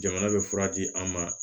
Jamana bɛ fura di an ma